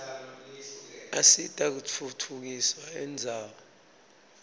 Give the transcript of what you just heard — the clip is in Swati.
asita kutfutfukisa indzawo